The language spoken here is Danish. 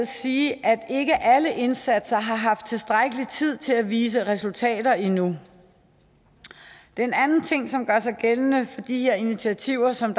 sige at ikke alle indsatser har haft tilstrækkelig tid til at vise resultater endnu en anden ting som gør sig gældende for de her initiativer som